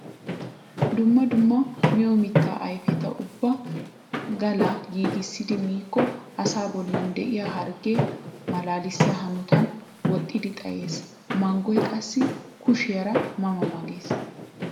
Dumma dumma miyo mitta ayfeta ubba gala giigissidi miikko asaa bollan de'iya hargge malaalissia hanotan woxxiddi xaayes! Manggoy qassi kushiyaara ma ma gees!